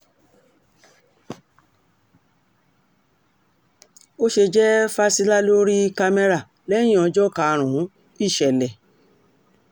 ó ṣe jẹ́ fásilà ló rí kámẹ́rà lẹ́yìn ọjọ́ karùn-ún ìsẹ̀lẹ̀